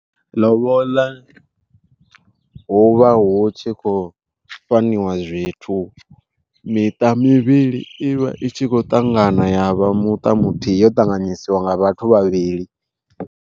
Ḽoboḽa huvha hu tshi khou fhaniwa zwithu, miṱa mivhili ivha i tshi khou ṱangana ya vha muṱa muthihi yo ṱanganyisiwa nga vhathu vhavhili.